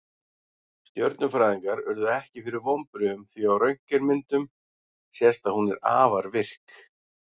Stjörnufræðingar urðu ekki fyrir vonbrigðum því á röntgenmyndum sést að hún er afar virk.